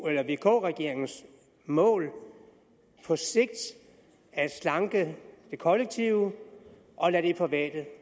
er vk regeringens mål på sigt at slanke det kollektive og lade det private